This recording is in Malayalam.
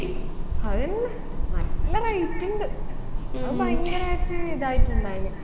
അഅന്നെ നല്ല rate ഉണ്ട് അത് ഭയങ്കരായിട്ട് ഇതായിട്ടുണ്ടായിന്